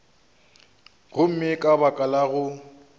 gomme ka baka la go